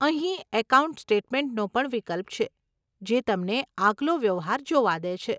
અહીં એકાઉન્ટ સ્ટેટમેન્ટનો પણ વિકલ્પ છે, જે તમને આગલો વ્યવહાર જોવા દે છે.